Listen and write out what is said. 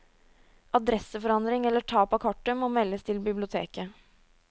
Adresseforandring eller tap av kortet må meldes til biblioteket.